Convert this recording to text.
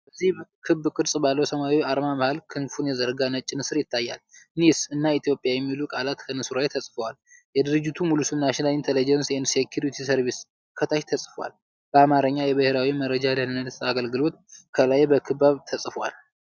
በዚህ ክብ ቅርጽ ባለው ሰማያዊ አርማ መሃል ክንፉን የዘረጋ ነጭ ንስር ይታያል። "NISS" እና "ETHIOPIA" የሚሉት ቃላት ከንስሩ በላይ ተጽፈዋል። የድርጅቱ ሙሉ ስም "NATIONAL INTELLIGENCE AND SECURITY SERVICE"ከታች ተጽፏል። በአማርኛ"የብሔራዊ መረጃ ደህንነት አገልግሎት" ከላይ በክብ ተጽፏል።